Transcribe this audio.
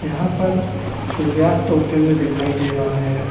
यहाँ पर सूर्यास्त होते हुए दिखाई दे रहा है।